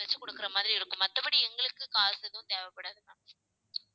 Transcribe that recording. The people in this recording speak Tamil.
வச்சு கொடுக்கிற மாதிரி இருக்கும். மத்தபடி எங்களுக்கு காசு எதுவும் தேவைப்படாது ma'am